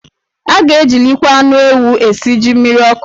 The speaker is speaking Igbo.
A ga-ejilikwa anụ ewu esi jí mmiriọkụ.